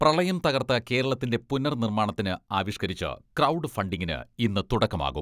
പ്രളയം തകർത്ത കേരളത്തിന്റെ പുനർനിർമ്മാണത്തിന് ആവിഷ്ക്കരിച്ച് ക്രൗഡ് ഫണ്ടിങ്ങിന് ഇന്ന് തുടക്കമാകും.